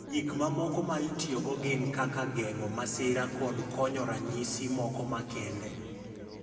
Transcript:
Gik mamoko ma itiyogo gin kaka geng’o masira kod konyo ranyisi moko makende.